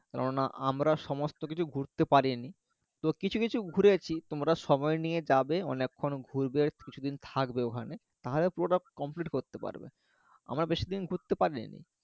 কেননা আমরা সমস্ত কিছু ঘুরতে পারিনি তো কিছু কিছু ঘুরেছি তোমরা সময় নিয়ে যাবে অনেক্ষন ঘুরবে কিছুদিন থাকবে ওখানে তাহলে পুরোটা complete করতে পারবে আমরা বেশিদিন ঘুরতে পারিনি